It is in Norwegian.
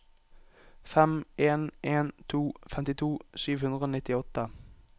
fem en en to femtito sju hundre og nittiåtte